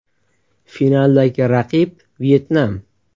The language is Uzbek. Finaldagi raqib Vyetnam .